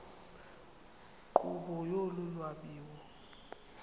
nkqubo yolu lwabiwo